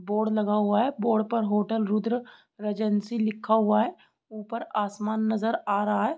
Board लगा हुआ है बोर्ड पर होटल रूद्र रीजेंसी लिखा हुआ है ऊपर आसमान नजर आ रहा है।